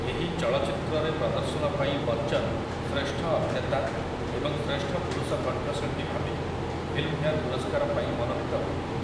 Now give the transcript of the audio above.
ଏହି ଚଳଚ୍ଚିତ୍ରରେ ପ୍ରଦର୍ଶନ ପାଇଁ ବଚ୍ଚନ୍ ଶ୍ରେଷ୍ଠ ଅଭିନେତା ଏବଂ ଶ୍ରେଷ୍ଠ ପୁରୁଷ କଣ୍ଠଶିଳ୍ପୀ ଭାବେ ଫିଲ୍ମଫେୟାର୍ ପୁରସ୍କାର ପାଇଁ ମନୋନୀତ ହୋଇଥିଲେ ।